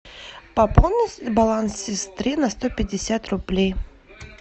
пополнить баланс сестры на сто пятьдесят рублей